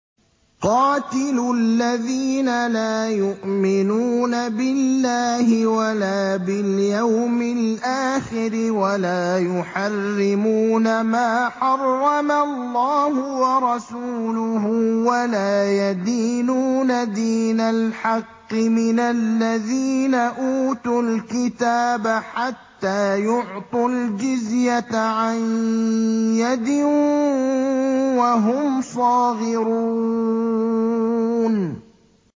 قَاتِلُوا الَّذِينَ لَا يُؤْمِنُونَ بِاللَّهِ وَلَا بِالْيَوْمِ الْآخِرِ وَلَا يُحَرِّمُونَ مَا حَرَّمَ اللَّهُ وَرَسُولُهُ وَلَا يَدِينُونَ دِينَ الْحَقِّ مِنَ الَّذِينَ أُوتُوا الْكِتَابَ حَتَّىٰ يُعْطُوا الْجِزْيَةَ عَن يَدٍ وَهُمْ صَاغِرُونَ